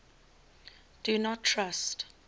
do not trust